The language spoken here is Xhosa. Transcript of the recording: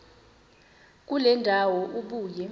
kule ndawo ubuye